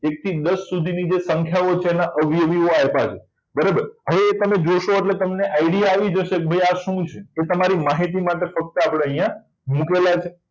એક થી દસ સુધીની સંખ્યા છે જેના અવયવી આપણને આપ્યા છે બરાબર એ તમે જોશો એટલે idea આવી જશે કે ભાઈ આ શું છે એ તમારી માહિતી માટે ફક્ત અહીંયા મુકેલા છે